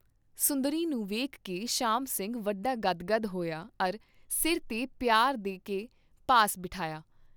ਸੁੰਦਰੀ ਨੂੰ ਵੇਖਕੇ ਸ਼ਾਮ ਸਿੰਘ ਵੱਡਾ ਗਦਗਦ ਹੋਇਆ ਅਰ ਸਿਰ ਤੇ ਪਿਆਰ ਦੇ ਕੇ ਪਾਸ ਬਿਠਾਇਆ।